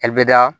Ali bɛda